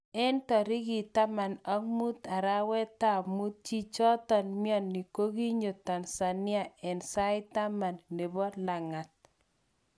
Eng tirikit 15 arawetab mut, chichoton mioni kokinyo Tanzania eng sait taman nebo langa't.